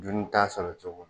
Duni t'a sɔrɔ cogo min